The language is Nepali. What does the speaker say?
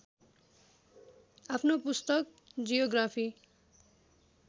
आफ्नो पुस्तक जियोग्राफी